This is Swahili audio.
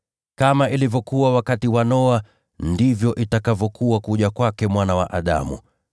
Kama ilivyokuwa wakati wa Noa, ndivyo itakavyokuwa kuja kwake Mwana wa Adamu.